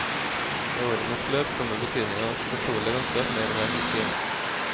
I årenes løp kommer betydningen av et fortrolig vennskap mer og mer til syne.